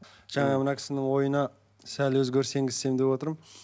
жаңағы мына кісінің ойына сәл өзгеріс енгізсем деп отырмын